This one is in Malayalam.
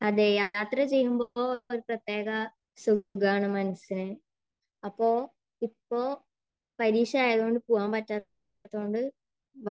അതെ യാത്ര ചെയ്യുമ്പോൾ ഒരു പ്രത്യേക സുഖമാണ് മനസ്സിന്. അപ്പോ, ഇപ്പോ പരീക്ഷയായതുകൊണ്ട് പോകാൻ പറ്റാത്തതുകൊണ്ട്